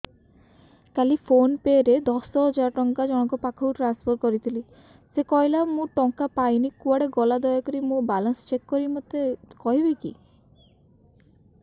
କାଲି PhonePe ରେ ଦଶ ହଜାର ଟଙ୍କା ଜଣକ ପାଖକୁ ଟ୍ରାନ୍ସଫର୍ କରିଥିଲି ସେ କହିଲା ମୁଁ ଟଙ୍କା ପାଇନି କୁଆଡେ ଗଲା ଦୟାକରି ମୋର ବାଲାନ୍ସ ଚେକ୍ କରି ମୋତେ କହିବେ କି